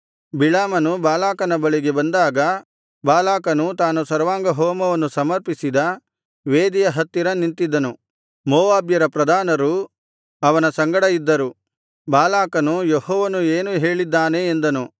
ಬಿಳಾಮನು ಬಾಲಾಕನ ಬಳಿಗೆ ಬಂದಾಗ ಬಾಲಾಕನು ತಾನು ಸರ್ವಾಂಗಹೋಮವನ್ನು ಸಮರ್ಪಿಸಿದ ವೇದಿಯ ಹತ್ತಿರ ನಿಂತಿದ್ದನು ಮೋವಾಬ್ಯರ ಪ್ರಧಾನರು ಅವನ ಸಂಗಡ ಇದ್ದರು ಬಾಲಾಕನು ಯೆಹೋವನು ಏನು ಹೇಳಿದ್ದಾನೆ ಎಂದನು